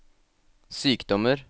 sykdommer